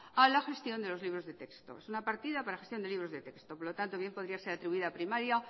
a la gestión de los libros de texto es una partida para gestión de libros de texto por lo tanto bien podría ser atribuida a primaria